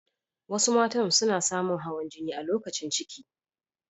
Wasu mata suna samu hawan jini idan lokacin ciki.